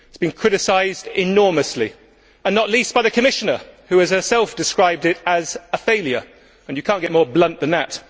It has been criticised enormously, and not least by the Commissioner, who has herself described it as a failure and you cannot get more blunt than that.